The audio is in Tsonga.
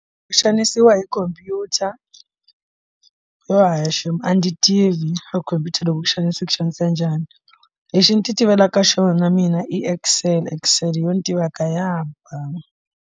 Ku xanisiwa hi khomphyuta yo hayi shemu a ndzi tivi a khompyuta loko ku xanisa ku xanisa njhani lexi ndzi ti tivela ka xona mina i excel excel yo ni tiva ku ya hambana.